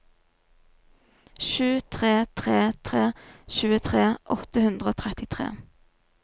sju tre tre tre tjuetre åtte hundre og trettitre